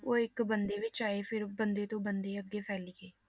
ਉਹ ਇੱਕ ਬੰਦੇ ਵਿੱਚ ਆਏ ਫਿਰ ਬੰਦੇ ਤੋਂ ਬੰਦੇ ਅੱਗੇ ਫੈਲੀ ਗਏ।